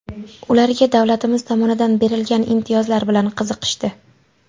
Ularga davlatimiz tomonidan berilgan imtiyozlar bilan qiziqishdi.